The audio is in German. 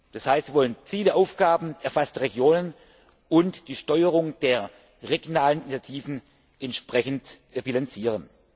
Das heißt, wir wollen Ziele, Aufgaben, erfasste Regionen und die Steuerung der regionalen Initiativen entsprechend bilanzieren.